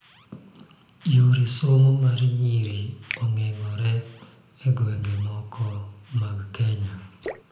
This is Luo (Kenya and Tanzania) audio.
Yor somo mar nyiri ogeng'ore e gwenge moko mag Kenya